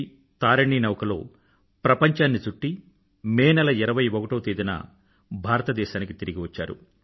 వి తారినీ నౌకలో ప్రంపంచాన్ని చుట్టి మే నెల 21వ తేదీన భారతదేశానికి తిరిగి వచ్చారు